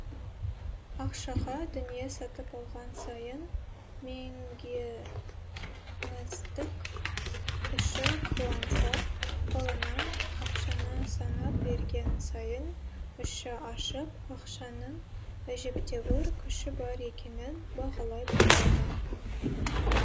ақшаға дүние сатып алған сайын меңгеніздік іші қуанса қолынан ақшаны санап берген сайын іші ашып ақшаның әжептәуір күші бар екенін бағалай бастады